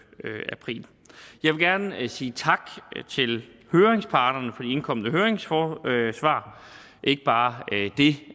april jeg vil gerne sige tak til høringsparterne for indkomne høringssvar ikke bare det